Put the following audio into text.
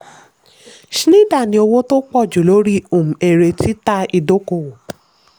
schneider ní owó tó pọ̀ jù lórí um èrè títà ìdókòwò.